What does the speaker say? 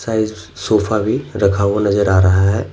Size sofa भीरखा हुआ नजर आ रहा हैं।